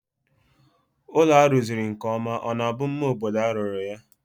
Ụlọ a rụziri nkeọma ọ na-bụ mma obodo a rụrụ ya?